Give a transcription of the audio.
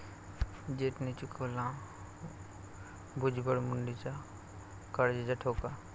जेट'ने चुकवला भुजबळ, मुंडेच्या काळजाचा ठोका